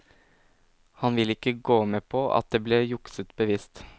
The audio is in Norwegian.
Han vil ikke gå med på at det ble jukset bevisst.